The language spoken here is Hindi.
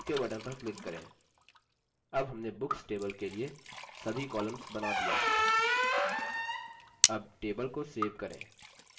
ok button पर click करें अब हमने books table के लिए सभी columns button दिये हैं